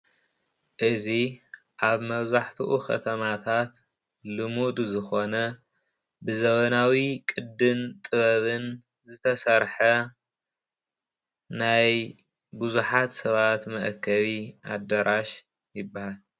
እዚ ኣብ መብዛሕትኡ ከተማታት ልሙድ ዝኾነ ብዘመናዊ ቅድን ጥበብን ዝተሰርሐ ናይ ብዙሓት ሰባት መእከቢ ኣደራሽ ይብሃል።